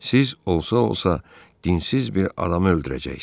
Siz olsa-olsa dinsiz bir adamı öldürəcəksiz.